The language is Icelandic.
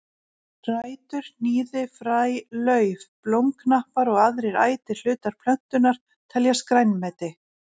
Rætur, hnýði, fræ, lauf, blómknappar og aðrir ætir hlutar plöntunnar teljast grænmeti.